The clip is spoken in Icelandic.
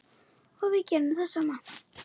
Og við gerum það sama.